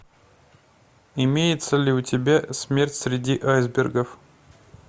имеется ли у тебя смерть среди айсбергов